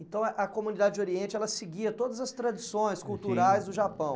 Então a a comunidade Oriente, ela seguia todas as tradições culturais do Japão?